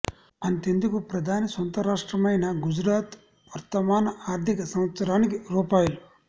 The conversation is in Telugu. అంతెందుకు ప్రధాని సొంత రాష్టమ్రైన గుజరాత్ వర్తమాన ఆర్థిక సంవత్సరానికి రూ